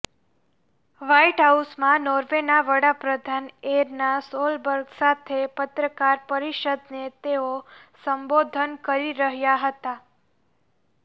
white હાઉસમાં નોર્વેના વડાપ્રધાન એરના સોલબર્ગ સાથે પત્રકાર પરિષદને તેઓ સંબોધન કરી રહ્યા હતાં